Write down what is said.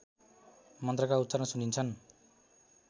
मन्त्रका उच्चारण सुनिन्छन्